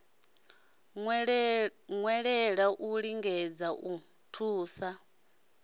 nwelela u lengisa u ḓithusa